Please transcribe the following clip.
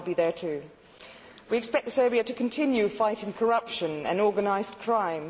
I will be there too. We also expect Serbia to continue fighting corruption and organised crime.